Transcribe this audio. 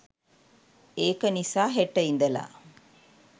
ඒක නිසා හෙට ඉඳලා